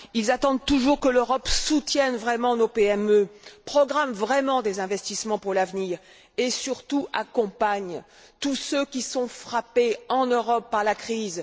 Ils attendent toujours que l'Europe soutienne vraiment nos PME, programme vraiment des investissements pour l'avenir et surtout accompagne tous ceux qui, en Europe, sont frappés par la crise.